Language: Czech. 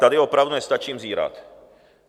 Tady opravdu nestačím zírat.